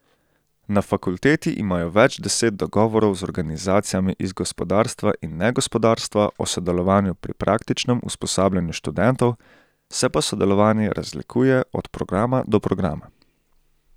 Na fakulteti imajo več deset dogovorov z organizacijami iz gospodarstva in negospodarstva o sodelovanju pri praktičnem usposabljanju študentov, se pa sodelovanje razlikuje od programa do programa.